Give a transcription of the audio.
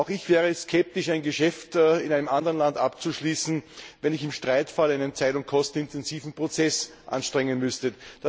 Auch ich wäre skeptisch, ein Geschäft in einem anderen Land abzuschließen, wenn ich im Streitfall einen zeit und kostenintensiven Prozess anstrengen müsste.